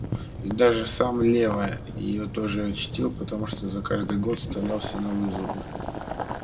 и даже сам лева её тоже чтил потому что за каждый год вставлял себе новые зубы